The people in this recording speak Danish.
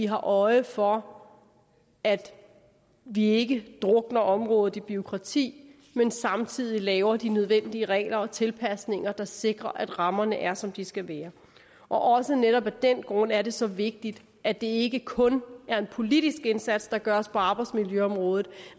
har øje for at vi ikke drukner området i bureaukrati men samtidig laver de nødvendige regler og tilpasninger der sikrer at rammerne er som de skal være også netop af den grund er det så vigtigt at det ikke kun er en politisk indsats der gøres på arbejdsmiljøområdet